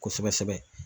Kosɛbɛ kosɛbɛ